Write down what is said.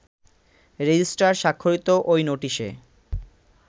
registrar স্বাক্ষরিত ওই নোটিশে